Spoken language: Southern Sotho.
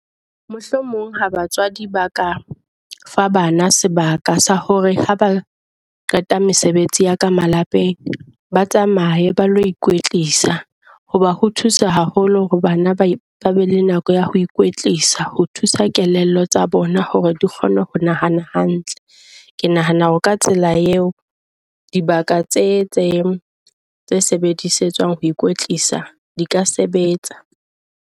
Mohlomong ha batswadi ba ka fa bana sebaka sa hore ha ba qeta mesebetsi ya ka malapeng, ba tsamaye ba lo ikwetlisa hoba ho thusa haholo hore bana ba ba be le nako ya ho ikwetlisa. Ho thusa kelello tsa bona hore di kgone ho nahana hantle. Ke nahana hore ka tsela eo dibaka tse tse tse sebedisetswang ho ikwetlisa di ka sebetsa.